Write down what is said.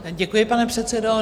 Děkuji, pane předsedo.